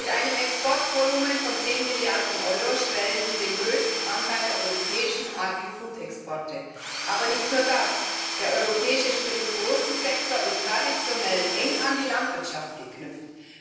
Mit einem Exportvolumen von zehn Milliarden Euro stellen sie den größten Anteil der europäischen Agrifood Exporte. Aber nicht nur das Der europäische Spirituosensektor ist traditionell eng an die Landwirtschaft geknüpft